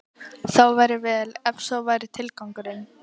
Þá væri vel, ef sá væri tilgangurinn.